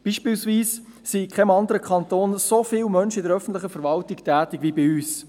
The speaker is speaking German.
Beispielsweise sind in keinem anderen Kanton so viele Leute in der öffentlichen Verwaltung tätig wie bei uns.